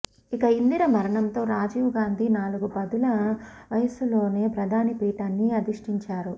ఇక ఇందిర మరణంతో రాజీవ్ గాంధీ నాలుగు పదుల వయసులోనే ప్రధాని పీఠాన్ని అధిష్టించారు